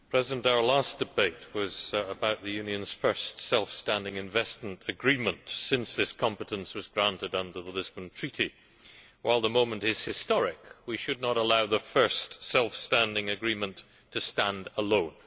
Madam President, our last debate was about the Union's first self standing investment agreement since this competence was granted under the Lisbon Treaty. While the moment is historic, we should not allow the first self standing agreement to stand alone.